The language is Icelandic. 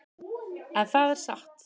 En það er satt.